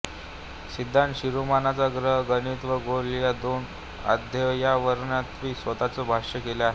सिद्धांत शिरोमानीच्या ग्रह गणित व गोल ह्या दोन अध्ययावरत्यांनी स्वतःच भाष्य केले आहे